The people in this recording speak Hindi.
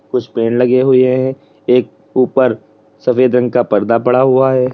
कुछ पेड़ लगे हुए हैं एक ऊपर सफेद रंग का पर्दा पड़ा हुआ है।